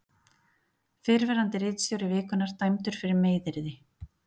Fyrrverandi ritstjóri Vikunnar dæmdur fyrir meiðyrði